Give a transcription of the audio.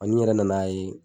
Ani n yɛrɛ nan'a ye